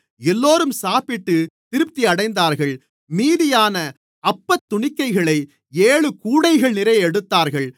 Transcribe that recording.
எல்லோரும் சாப்பிட்டுத் திருப்தியடைந்தார்கள் மீதியான அப்பத்துணிக்கைகளை ஏழு கூடைகள்நிறைய எடுத்தார்கள்